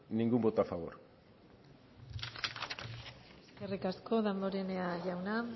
ningún voto a favor eskerrik asko damborenea jauna